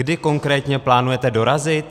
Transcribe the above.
Kdy konkrétně plánujete dorazit?